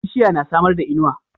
Bishiya na samarda inuwa